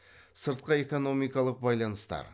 сыртқы экономикалық байланыстар